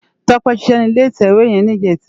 Tope ṣiṣè ni ilé itèwé yèn nijètá